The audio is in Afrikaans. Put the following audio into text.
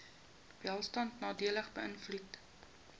welstand nadelig beïnvloed